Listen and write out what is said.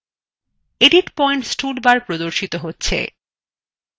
edit points toolbar প্রদর্শন করা হচ্ছে